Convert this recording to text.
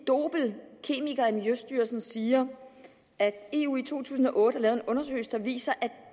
dobel kemiker i miljøstyrelsen siger at eu i to tusind og otte har lavet en undersøgelse der viser at